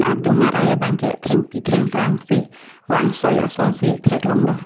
adung arai abang ke thengpi thengprang si vang soi ason si thek long lo.